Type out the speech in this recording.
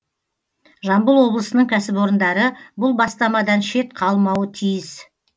жамбыл облысының кәсіпорындары бұл бастамадан шет қалмауы тиіс